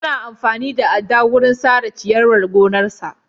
Yayi amfani da adda wurin sare ciyarwar gonarsa.